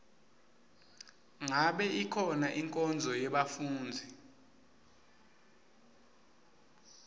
ngabe ikhona inkonzo yebafundzi